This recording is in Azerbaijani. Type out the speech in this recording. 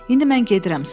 İndi mən gedirəm.